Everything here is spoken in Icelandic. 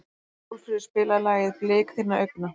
Sólfríður, spilaðu lagið „Blik þinna augna“.